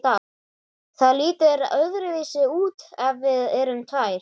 Það lítur öðruvísi út ef við erum tvær.